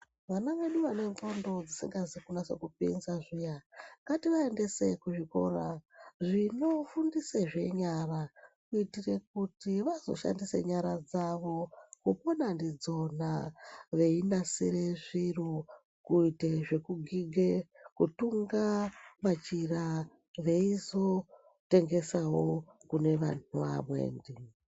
Vana vedu vane ndxondo dzisingazi kunasa kupinza zviya ngativaendese kuzvikora zvinofundisa zvenyara kuitire kuti vazoshandisa nyara dzavo kupona ndidzona veinasire zviro kuite zvekugige, kutunga machira veizotengesawo kune vantu vamweni.